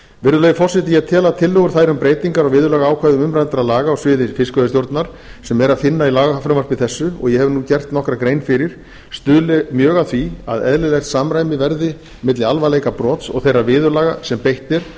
virðulegi forseti ég tel að tillögur þær um breytingar á viðurlagaákvæðum umræddra laga á sviði fiskveiðistjórnar sem er að finna í lagafrumvarpi þessu og ég hef nú gert nokkra grein fyrir stuðli mjög að því að eðlilegt samræmi verði milli alvarleika brots og þeirra viðurlaga sem beitt er